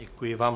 Děkuji vám.